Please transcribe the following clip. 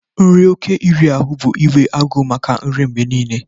Nri oké iri ahụ bụ inwe agụụ maka nri mgbe niile